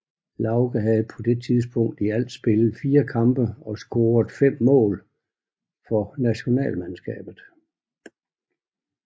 Lauge havde på det tidspunkt i alt spillet 4 kampe og scoret 5 mål for nationalmandskabet